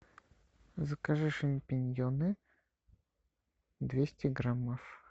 закажи шампиньоны двести граммов